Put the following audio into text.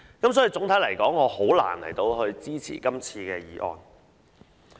所以，總體來說，我很難支持這項決議案。